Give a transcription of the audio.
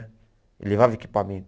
Eu levava equipamento.